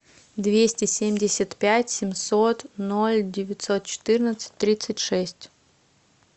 двести семьдесят пять семьсот ноль девятьсот четырнадцать тридцать шесть